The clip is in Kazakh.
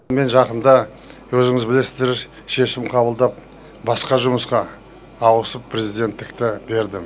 мен жақында өзіңіз білесіздер шешім қабылдап басқа жұмысқа ауысып президенттікті бердім